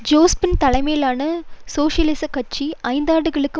Jospin தலைமையிலான சோசியலிசக் கட்சி ஐந்தாண்டுகளுக்கு